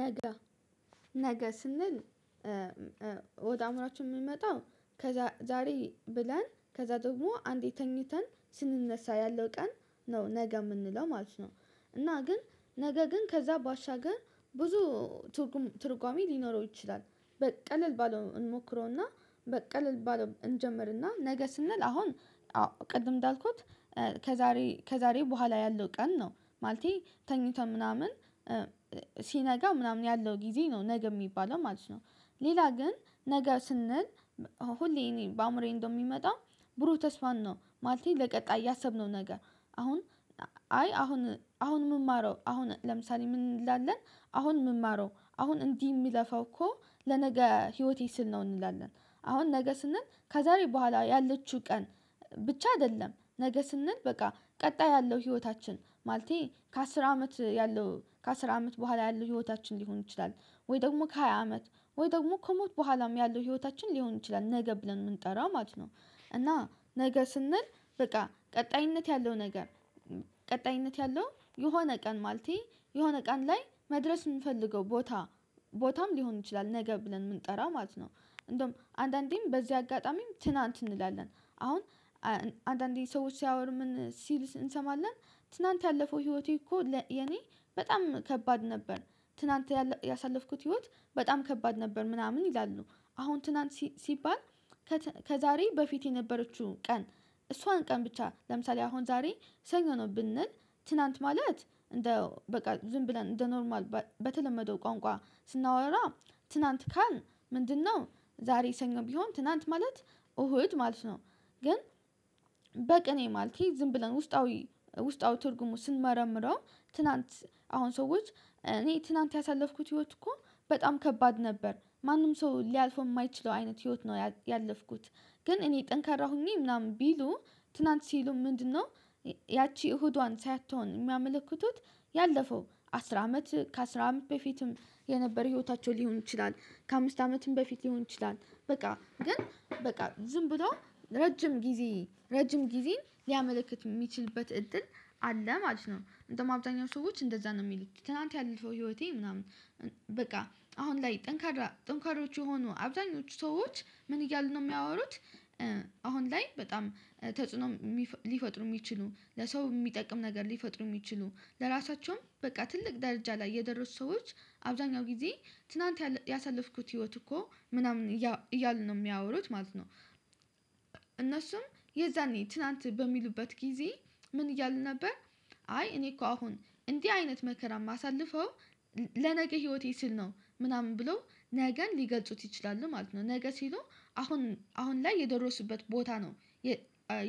ነገ ነገ ስንል ወደ አእምሮአችን ሚመጣ ከዛ ዛሬ ብለን ከዛ ደግሞ አንዴ ተኝተን ስንነሳ ያለው ቀን ነው ነገ የምንለው ማለት ነው። እና ግን ነገ ግን ከዛ ባሻገር ብዙ ትርጉም ትርጓሜ ሊኖረው ይችላል በቀለል ባለው እንሞክረውና በቀለል ባለው እንጀምርና ነገ ስንል አሁን አዎ ቅድም እንዳልኩት ከዛሬ ከዛሬ በኋላ ያለው ቀን ነው ማለቴ ተኝተህ ምናምን ሲነጋ ምናምን ያለው ጊዜ ነው ነገ የሚባለው ማለት ነው ሌላ ግን ነገ ስንል ሁሌ እኔን በአእምሮዬ እንደሚመጣ ብሩህ ተስፋን ነው ማለቴ ለቀጣይ ያሰብነው ነገ አሁን አይ አሁን አሁን ምማረው አሁን ለምሳሌ ምን እንላለን አሁን ምንማረው አሁን እንዲህ ምለፋው እኮ ለነገ ህይወቴ ስል ነው እንላለን አሁን ነገ ስንል ከዛሬ በኋላ ያለችው ቀን ብቻ አይደለም ነገ ስንል በቃ ቀጣይ ያለው ህይወታችን ማለቴ ከአስር አመት ያለው ከአስር አመት በኋላ ያለው ህይወታችን ሊሆን ይችላል ወይ ደግሞ ከሃያ አመት ወይ ደግሞ ከሞት በኋላም ያለው ህይወታችን ሊሆን ይችላል ነገ ብለን ምንጠራ ማለት ነው እና ነገ ስንል በቃ ቀጣይነት ያለው ነገር ቀጣይነት ያለው የሆነ ቀን ማለቴ የሆነ ቀን ላይ መድረስ ምፈልገው ቦታ ቦታም ሊሆን ይችላል ነገ ብለን ምንጠራው ማለት ነው እንደም አንዳንዴም በዚህ አጋጣሚም ትናንት እንላለን አሁን አንዳንዴ ሰዎች ሲያወሩ ምን ሲል እንሰማለን ትናንት ያለፈው ህይወቴ እኮ ለ የኔ በጣም ከባድ ነበር ትላንት ያለ ያሳለፍኩት ህይወት በጣም ከባድ ነበር ምናምን ይላሉ አሁን ትናንት ሲ ሲባል ከት ከዛሬ በፊት የነበረችው ቀን እሷን ቀን ብቻ ለምሳሌ አሁን ዛሬ ሰኞ ብንል ትናንት ማለት እንደው በቃ ዝም ብለን እንደ ኖርማል በተለመደው ቋንቋ ስናወራ ትናንት ካልን ምንድነው ዛሬ ሰኞ ቢሆን ትናንት ማለት እሁድ ማለት ነው ግን በቅኔ ማለቴ ዝም ብለን ውስጣዊ ውስጣዊ ትርጉሙ ስንመረምረው ትላንት አሁን ሰዎች እኔ ትላንት ያሳለፍኩት ህይወት እኮ በጣም ከባድ ነበር ማንም ሰው ሊያልፈው የማይችለው አይነት ህይወት ነው ያለፍኩት ግን እኔ ጠንካራ ሁኜ ምናምን ቢሉ ትናንት ሲሉ ምንድነው ያቺ እሁዷን ሳትወን ሚያመለክቱት ያለፈው አስር አመት ከአስር አመት በፊትም የነበር ህይወታቸው ሊሆን ይችላል ከአምስት አመትም በፊት ሊሆን ይችላል በቃ ግን በቃ ዝም ብሎ ረጅም ጊዜ ረጅም ጊዜን ሊያመለክት የሚችልበት እድል አለ ማለት ነው እንዳውም አብዛኛው ሰዎች እንደዛ ነው ሚሉት ትናንት ያለፈው ህይወቴ ምናምን በቃ አሁን ላይ ጠንካሬ ጥንካሬዎች የሆኑ አብዛኞቹ ሰዎች ምን እያሉ ነው የሚያወሩት አሁን ላይ በጣም ተጽዕኖ እሚ ሊፈጥሩ የሚችሉ ለሰው የሚጠቅም ነገር ሊፈጥሩ የሚችሉ ለራሳቸውም በቃ ትልቅ ዳርጃ ላይ የደረሱት ሰዎች አብዛኛው ጊዜ ትናንት ያል ያሳለፍኩት ህይወት እኮ ምናምን እያ እያሉ ነው የሚያወሩት ማለት ነው እነሱም የዛኔ ትናንት በሚሉበት ጊዜ ምን እያሉ ነበር አይ እኔ እኮ አሁን እንዲህ አይነት መከራ የማሳልፈው ለነገ ህይወቴ ስል ነው ምናምን ብለው ነገን ሊገልጹት ይችላሉ ማለት ነው ነገ ሲሉ አሁን አሁን ላይ የደረሱበት ቦታ ነው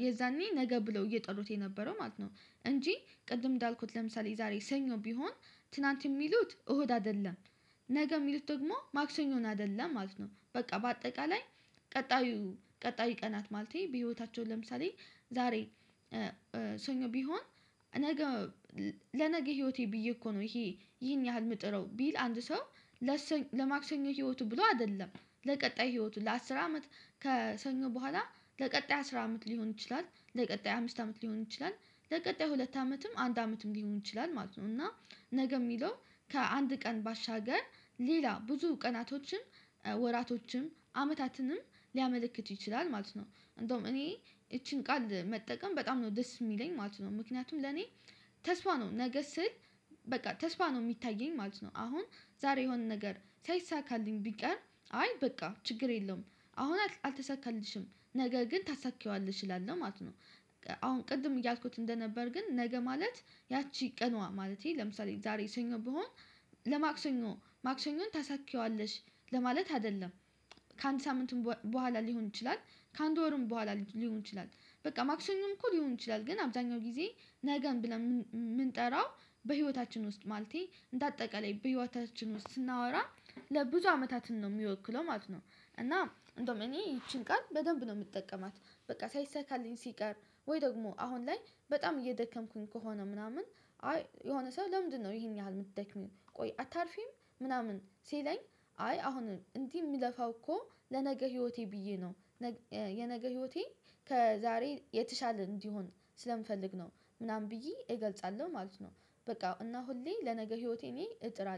የዛኔ ነገ ብለው እየጠሩት የነበረው ማለት ነው እንጂ ቅድም እንዳልኩት ለምሳሌ የዛሬ ሰኞ ቢሆን ትናንት የሚሉት እሁድ አይደለም ነገ የሚሉት ደግሞ ማክሰኞን አይደለም ማለት ነው በቃ በአጠቃላይ ቀጣዩ ቀናት ማለቴ በህይወታቸው ለምሳሌ ዛሬ ሰኞ ቢሆን ነገ ለነገ ህይወቴ ብዬ እኮ ነው ይሄ ይሄን ያህል ምጥረው ቢል አንድ ሰው ለሰ ለማክሰኞ ህይወቱ ብሎ አደለም ለቀጣይ ህይወቱ ለአስር አመት ከሰኞ በኋላ ለቀጣይ አስር አመት ሊሆን ይችላል ለቀጣይ አምስት አመት ሊሆን ይችላል ለቀጣይ ሁለት አመትም አንድ አመትም ሊሆን ይችላል ማለት ነው እና ነገ የሚለው ከአንድ ቀን ባሻገር ሌላ ብዙ ቀናቶችም ወራቶችም አመታትንም ሊያመለክት ይችላል ማለት ነው ነው እንደውም እኔ ይቺን ቃል መጠቀም በጣም ነው ደስ የሚለኝ ማለት ነው ምክንያቱም ለኔ ተስፋ ነው ነገ ስል በቃ ተስፋ ነው የሚታየኝ ማለት ነው አሁን ዛሬ የሆነ ነገር ሳይሳካልኝ ቢቀር አይ በቃ ችግር የለውም አሁን አልተሳካልሽም ነገ ግን ታሳኪዋለሽ እላለው ማለት ነው አሁን ቅድም እያልኩት እንደነበር ግን ነገ ማለት ያቺ ቀኗ ማለቴ ለምሳሌ ዛሬ ሰኞ ብሆን ለማክሰኞ ማክሰኞን ታሳኪዋለሽ ለማለት አደለም ከአንድ ሳምንትም በኋላ ሊሆን ይችላል ከአንድ ወርም ቡኋላ ሊሆን ይችላል በቃ ማክሰኞም እኮ ሊሆን ይችላል ግን አብዛኛው ጊዜ ነገን ብለን ምን ምንጠራው በህይወታችን ውስጥ ማለቴ እንዳጠቃላይ በህይወታችን ውስጥ ስናወራ ለብዙ አመታትን ነው ሚወክለው ማለት ነው እና እንዳውም እኔ ይቺን ቃል በደንብ ነው የምጠቀማት በቃ ሳይሰካልኝ ሲቀር ወይ ደግሞ አሁን ላይ በጣም እየደከምኩኝ ከሆነ ምናምን አይ የሆነ ሰው ለምንድነው ይሄን ያህል የምትደክሚው ቆይ አታርፊም ምናምን ሲለኝ አይ አሁን እንዲህ ምለፋው እኮ ለነገ ህይወቴ ብዬ ነው የነገ ህይወቴ ከዛሬ የተሻለ እንዲሆን ስለምፈልግ ነው ምናምን ብዬ እገልጻለሁ ማለት ነው በቃ እና ሁሌ ለነገ ህይወት ብየ እጥራለሁ